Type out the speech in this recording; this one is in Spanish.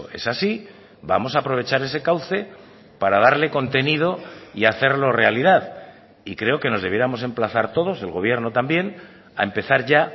es así vamos a aprovechar ese cauce para darle contenido y hacerlo realidad y creo que nos debiéramos emplazar todos el gobierno también a empezar ya